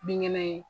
Binkɛnɛ ye